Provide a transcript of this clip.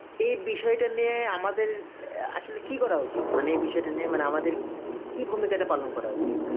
এই বিষয়টা নিয়ে আমাদের অ্যাঁ আসলে কি করা উচিত? মানে এই বিষয়টা নিয়ে মানে আমাদের কি ভূমিকা টা পালন করা উচিত?